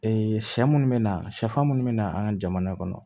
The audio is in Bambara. sɛ munnu bɛ na sɛfan minnu bɛ na an ka jamana kɔnɔ